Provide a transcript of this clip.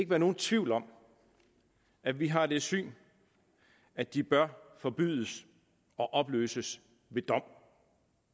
være nogen tvivl om at vi har det syn at de bør forbydes og opløses ved dom